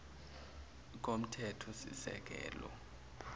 komthethosisekelo